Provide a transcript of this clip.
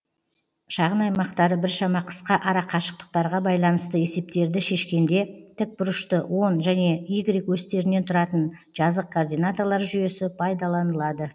шағын аймақтары біршама қысқа арақашықтықтарға байланысты есептерді шешкенде тік бұрышты он және у осьтерінен тұратын жазық координаталар жүйесі пайдалынады